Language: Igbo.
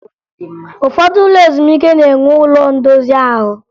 Ụfọdụ ụlọ ezumike na-enwe ụlo ndozi ahụ